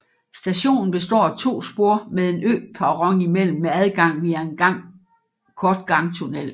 Stationen består af to spor med en øperron imellem med adgang via en kort gangtunnel